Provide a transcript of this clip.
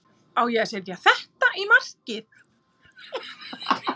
Ég á að setja þetta í markið.